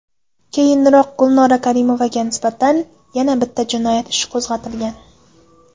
Keyinroq Gulnora Karimovaga nisbatan yana bitta jinoyat ishi qo‘zg‘atilgan.